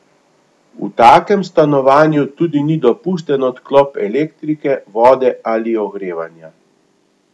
V takem stanovanju tudi ni dopusten odklop elektrike, vode ali ogrevanja.